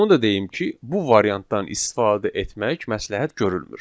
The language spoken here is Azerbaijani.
Onu da deyim ki, bu variantdan istifadə etmək məsləhət görülmür.